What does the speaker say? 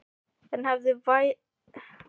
En hefði verið hægt að koma í veg fyrir þetta?